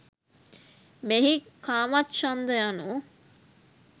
මෙහි කාමච්ඡන්ද යනු